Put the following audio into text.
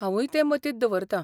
हांवूय ते मतींत दवरतां.